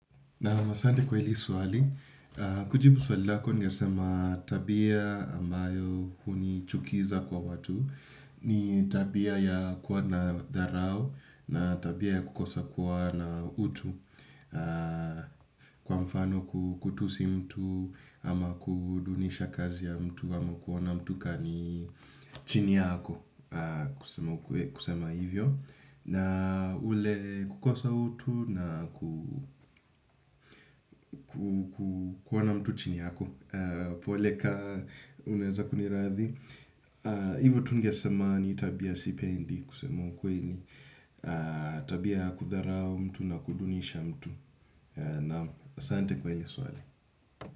Naam asante kwa ili swali, kujibu swali lako ni nasema tabia ambayo hunichukiza kwa watu. Ni tabia ya kuwa na dharau na tabia ya kukosa kuwa na utu. Kwa mfano kutusi mtu ama kudunisha kazi ya mtu ama kuona mtu kani yeye chini yako kusema hivyo na ule kukosa utu na kuona mtu chini yako kuoleka unaeza kuniradhi. Hivo tungesema ni tabia sipendi kusema ukweli tabia ya kudharau mtu na kudunisha mtu na asante kwa hili swali.